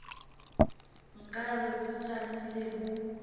nka re bo tšamile bo